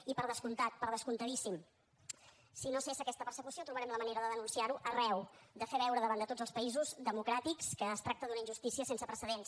i per descomptat per descomptadíssim si no cessa aquesta persecució trobarem la manera de denunciarho arreu de fer veure davant de tots els països democràtics que es tracta d’una injustícia sense precedents